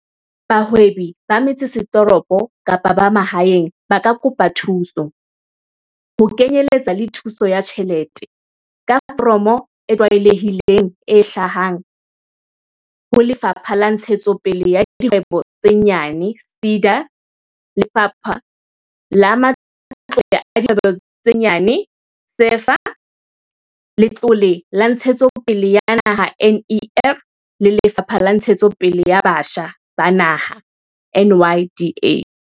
Bahwebi ba metsesetoropo kapa ba mahaeng ba ka kopa thuso, ho kenyeletsa le thuso ya tjhelete, ka foromo e tlwaelehileng e hlahang ho Lefapha la Ntshetsopele ya Dikgwebo tse Nyane, SEDA, Lefapha la Matlole a Dikgwebo tse Nyane, SEFA, Letlole la Ntshetsopele ya Naha, NEF, le Lefapha la Ntshetsopele ya Batjha ba Naha, NYDA.